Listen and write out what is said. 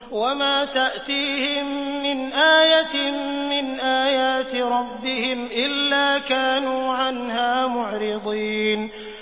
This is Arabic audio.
وَمَا تَأْتِيهِم مِّنْ آيَةٍ مِّنْ آيَاتِ رَبِّهِمْ إِلَّا كَانُوا عَنْهَا مُعْرِضِينَ